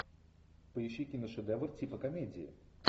поищи киношедевр типа комедии